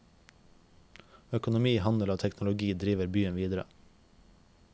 Økonomi, handel og teknologi driver byen videre.